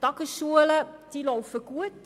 Die Tagesschulen laufen gut.